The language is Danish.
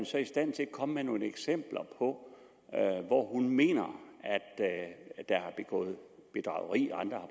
så i stand til at komme med nogle eksempler på hvor hun mener at der er begået bedrageri andre